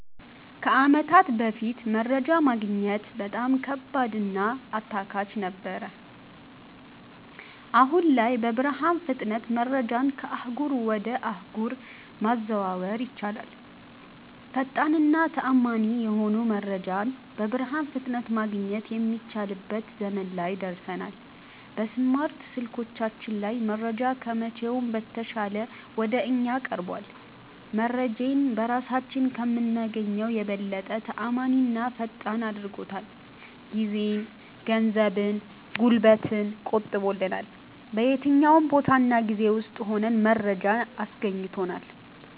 ከአመታት በፋት መረጃ ማግኘት በጣም ከባድ እና አታካች ነገር ነበር። አሁን ላይ በብርሃን ፍጥነት መረጃን ከአህጉር ወጀ አህጉር ማዘዋወር ይቻላል። ፈጣን እና ተአመኒ የሆነ መረጃን በብርሃን ፍጥነት ማገኘት የሚችልበት ዘመን ላይ ደርሠናል። በስማርት ስልኮቻችን ላይ መረጃ ከመቼውም በተሻለ ወደ እኛ ቀርቧል። መረጄን በራሳችን ከምናገኘው የበለጠ ተአማኒና ፈጣን አድርጎታል። ጊዜን፣ ገንዘብን፣ ጉልበትን ቆጥቦልናል። በየትኛውም ቦታ እና ጊዜ ውስጥ ሁነን መረጃን አስገኝቶልናል።